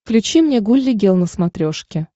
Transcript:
включи мне гулли гел на смотрешке